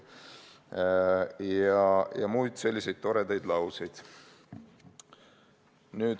Ja on muid selliseid toredaid lauseid.